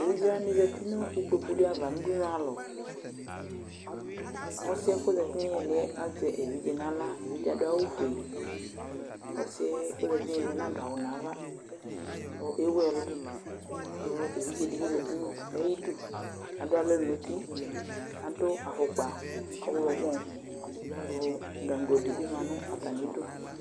Evidzewanɩ zati nikpoku ava n'udunualɔ Ɔsɩɛk'ozati n'ɩɩlɩɛ azɛ evidze n'ɣla, k'adʋ awʋfue ; ɔsɩɛ k'ozati n'ɛmɛ nadʋ awʋ n'ava kʋ ewu ɛlʋ Kʋ evidzedɩ bɩ zati n'udu n'ayidu adʋalɔ n'uti , adʋ afʋkpa ɔɣlɔmɔ kʋ gagodɩ bɩ ma nʋ atamidu